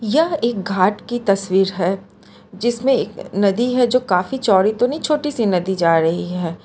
यह एक घाट की तस्वीर है जिसमें एक नदी है जो काफी चौड़ी तो नहीं छोटी सी नदी जा रही है।